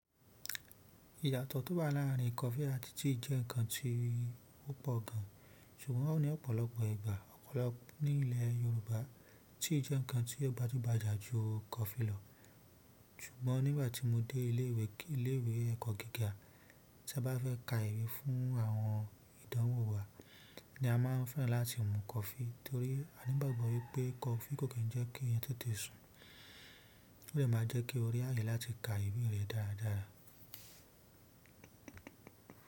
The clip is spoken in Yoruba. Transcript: Ìyàtọ̀ tó bá láàrin kọfí àti tea jẹ́ nǹkan tí ó pọ̀ gan, ṣùgbọ́n ó ní ọ̀pọ̀lọpọ̀ ìgbà, ọ̀pọ̀lọpọ̀ ní ilẹ̀ Yorùbá, tea jẹ́ nǹkan tí ó gbajúgbajà ju kọfí lọ. Ṣùgbọ́n nígbà tí mo dé ilé ìwé kí, ilé ìwé ẹ̀kọ́ gíga, tí a bá fẹ́ ka ìwé fún àwọn ìdánwò wa, a maa n fe láti mu coffee, torí a ni ìgbàgbọ́ wípé coffee ko ki n je ki eeyan tètè sun, o de maa n je ki o ri ààyè láti ka ìwé re daada.